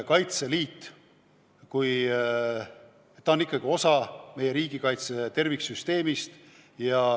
Kaitseliit on ikkagi osa meie riigikaitse terviksüsteemist.